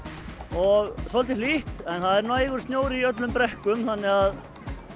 og svolítið hlýtt en það er nægur snjór í brekkum þannig að